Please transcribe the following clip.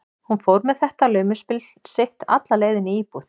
Hún fór með þetta laumuspil sitt alla leið inn í íbúð